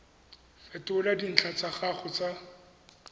fetola dintlha tsa gago tsa